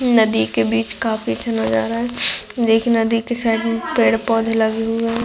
नदी के बीच काफी अच्छा नजारा है एक नदी के साइड मे पेड़-पौधे लगे हुए है।